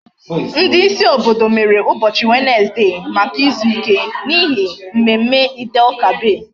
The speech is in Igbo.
Ndi isi obodo mere ubochi Wednesday Maka izuike, n'ihi mmemme Eid El kabir